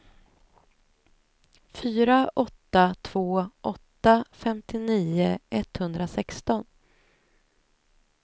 fyra åtta två åtta femtionio etthundrasexton